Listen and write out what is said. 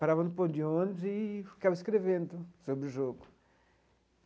Parava no ponto de ônibus eee ficava escrevendo sobre o jogo.